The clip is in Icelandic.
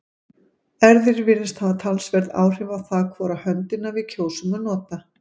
erfðir virðast hafa talsverð áhrif á það hvora höndina við kjósum að nota